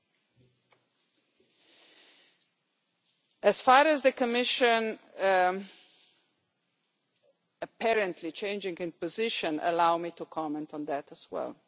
Regarding the Commission apparently changing its position, allow me to comment on that as well.